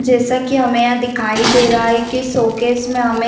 जैसा कि हमें यहां दिखाई दे रहा है कि शो केस में हमें --